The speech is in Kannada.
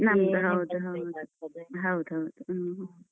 ನಮ್ದು ಹೌದು ಹೌದ್ ಹೌದು ಹ್ಮ.